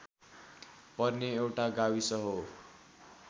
पर्ने एउटा गाविस हो